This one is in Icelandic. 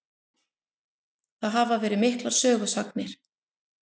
Það hafa verið miklar sögusagnir.